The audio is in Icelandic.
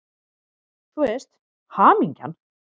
Þú veist: Hamingjan!